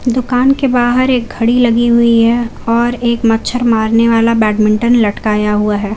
दुकान के बाहर एक घड़ी लगी हुई है और एक मच्छर मारने वाला बैडमिंटन लटकाया हुआ है।